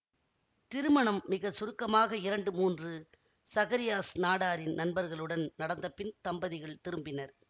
திருமணம் மிக சுருக்கமாக இரண்டு மூன்று சகரியாஸ் நாடாரின் நண்பர்களுடன் நடந்தபின் தம்பதிகள் திரும்பினர்